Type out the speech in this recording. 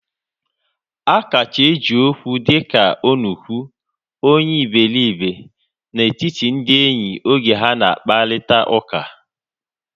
A kacha eji Okwu dịka onuku, onye iberibe na etiti ndị enyi oge ha na akparita ụka